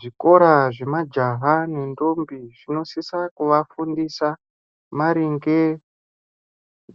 Zvikora zvemajaha nendombi zvinosisa kuvafundisa maringe